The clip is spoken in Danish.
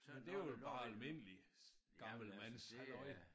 Det var vel bare almindelig gammelmandshalløj